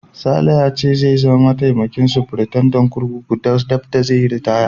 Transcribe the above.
Sale ya ce zai zama mataimakin sufritandan kurkuku daf da zai yi ritaya.